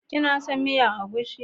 Kina son miyan agushi?